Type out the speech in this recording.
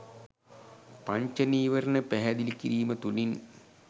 පංච නීවරණ පැහැදිලි කිරීම තුළින්.